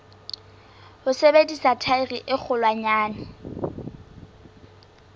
ho sebedisa thaere e kgolwanyane